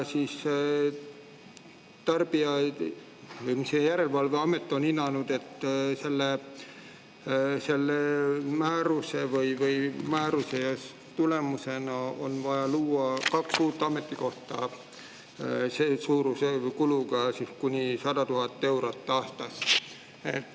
Aga järelevalveamet on hinnanud, et selle määruse tulemusena on vaja luua kaks uut ametikohta kuluga kuni 100 000 eurot aastas.